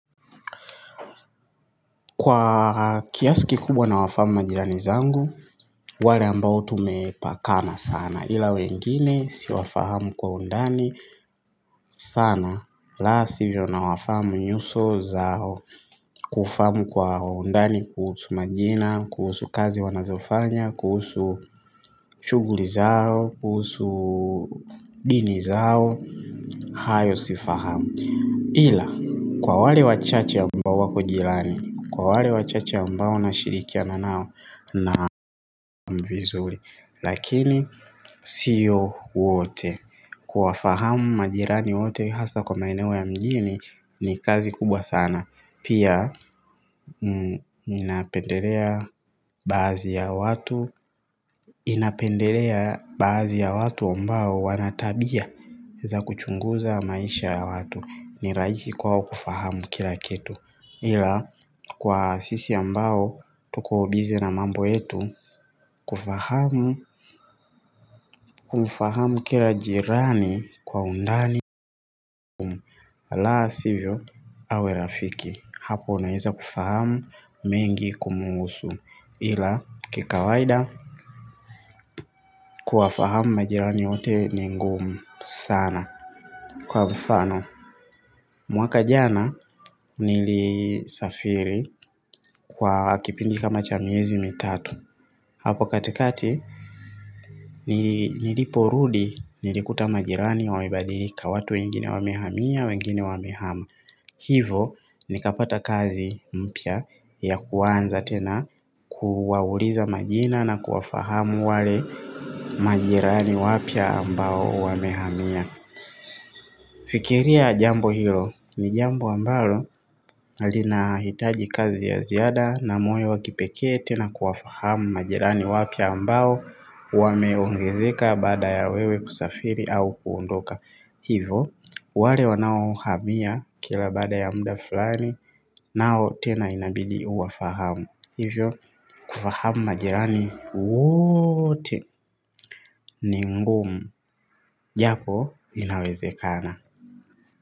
Kwa kiasi kikubwa na wafahamu majirani zangu, wale ambao tumepakana sana. Ila wengine, siwafahamu kwa undani sana. La sivyo na wafahamu nyuso zao, kufahamu kwa undani, kuhusu majina, kuhusu kazi wanazofanya, kuhusu shughuli zao, kuhusu dini zao, hayo sifahamu. Ila, kwa wale wachache ambao wako jirani, kwa wale wachache ambao na shirikiana nao na vizuri, lakini siyo wote. Kuwa fahamu majirani wote hasa kwa maeneo ya mjini ni kazi kubwa sana. Pia, inapendelea bahazi ya watu ambao wanatabia za kuchunguza maisha ya watu. Ni rahisi kwao kufahamu kila kitu ila kwa sisi ambao tuko bize na mambo yetu kufahamu kumfahamu kila jirani kwa undani ala sivyo awe rafiki hapo unaweza kufahamu mengi kumuhusu ila kikawaida kuwafahamu majirani wote ni ngumu sana kwa mfano mwaka jana nili safiri kwa kipindi kama cha miezi mitatu. Hapo katikati niliporudi nilikuta majirani wamebadilika watu wengine wamehamia wengine wamehama. Hivyo nikapata kazi mpya ya kuanza tena kuwauliza majina na kuwafahamu wale majirani wapya ambao wamehamia. Fikiria jambo hilo ni jambo ambalo linahitaji kazi ya ziada na moyo wakipekee tena kuwafahamu majirani wapya ambao wameongezeka baada ya wewe kusafiri au kuondoka. Hivyo, wale wanao hamia kila baada ya muda fulani nao tena inabidi uwafahamu. Hivyo, kufahamu majirani wote ningumu japo inawezekana.